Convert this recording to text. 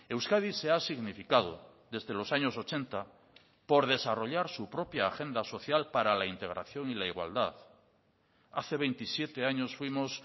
euskadi se ha significado desde los años ochenta por desarrollar su propia agenda social para la integración y la igualdad hace veintisiete años fuimos